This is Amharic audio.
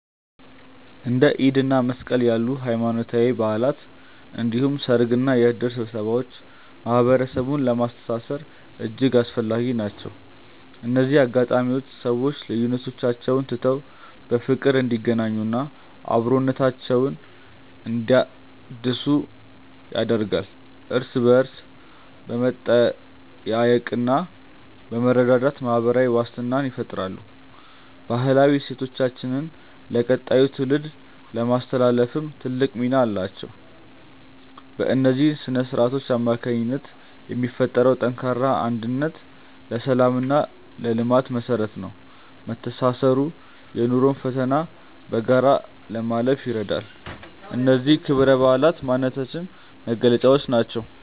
እንደ ኢድ እና መስቀል ያሉ ሃይማኖታዊ በዓላት እንዲሁም ሰርግና የእድር ስብሰባዎች ማህበረሰቡን ለማስተሳሰር እጅግ አስፈላጊ ናቸው። እነዚህ አጋጣሚዎች ሰዎች ልዩነቶቻቸውን ትተው በፍቅር እንዲገናኙና አብሮነታቸውን እንዲያድሱ ያደርጋሉ። እርስ በእርስ በመጠያየቅና በመረዳዳት ማህበራዊ ዋስትናን ይፈጥራሉ። ባህላዊ እሴቶቻችንን ለቀጣዩ ትውልድ ለማስተላለፍም ትልቅ ሚና አላቸው። በእነዚህ ስነ-ስርዓቶች አማካኝነት የሚፈጠረው ጠንካራ አንድነት ለሰላምና ለልማት መሰረት ነው። መተሳሰሩ የኑሮን ፈተና በጋራ ለማለፍ ይረዳል። እነዚህ ክብረ በዓላት የማንነታችን መገለጫዎች ናቸው።